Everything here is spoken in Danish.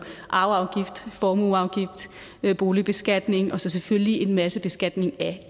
arveafgift formueafgift boligbeskatning og så selvfølgelig en masse beskatning af